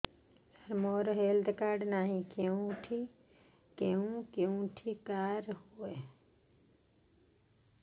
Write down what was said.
ସାର ମୋର health card ନାହିଁ କେଉଁଠି କରା ହୁଏ